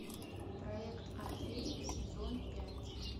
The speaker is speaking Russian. проект орфей сезон пять